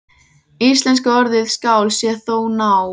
Íslenska orðið skál sé þó ná